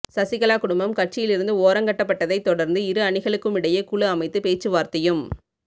சசிகலா குடும்பம் கட்சியிலிருந்து ஓரங்கட்டப்பட்டதைத் தொடர்ந்து இரு அணிகளுக்குமிடையே குழு அமைத்து பேச்சுவார்த்தையும்